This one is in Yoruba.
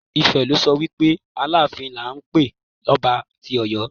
Ife lo so wi pe Aláàfin ni à ń pé ọba tí Ọ̀yọ́.